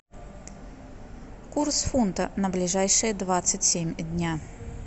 курс фунта на ближайшие двадцать семь дня